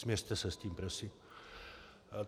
Smiřte se s tím prosím.